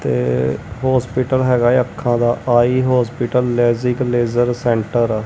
ਤੇ ਹੋਸਪੀਟਲ ਹੈਗਾ ਹ ਅੱਖਾਂ ਦਾ eye hospital LASIK laser centre --